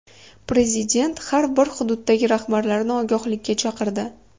Prezident har bir hududdagi rahbarlarni ogohlikka chaqirdi.